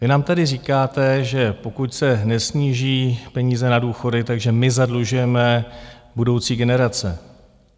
Vy nám tedy říkáte, že pokud se nesníží peníze na důchody, takže my zadlužujeme budoucí generace.